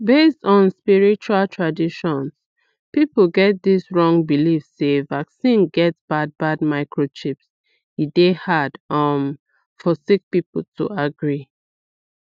based on spiritual traditions people get dis wrong believe sey vaccine get bad bad microchips e dey hard um for sick people to agree